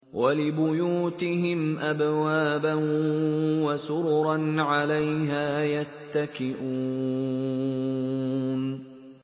وَلِبُيُوتِهِمْ أَبْوَابًا وَسُرُرًا عَلَيْهَا يَتَّكِئُونَ